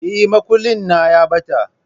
Eh, makullin na ya ɓata